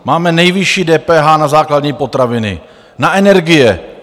Máme nejvyšší DPH na základní potraviny, na energie.